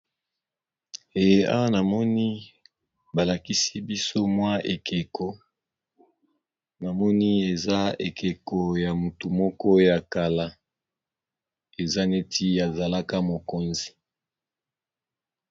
Namoni balakisi biso ekeko namoni eza ekeko ya motu moko ya kala eza neti azalaka mokonzi.